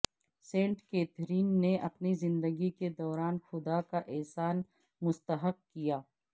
Saint Catherine نے اپنے زندگی کے دوران خدا کا احسان مستحق کیا